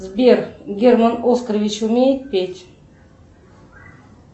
сбер герман оскарович умеет петь